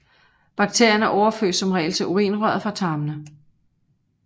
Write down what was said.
Bakterierne overføres som regel til urinrøret fra tarmene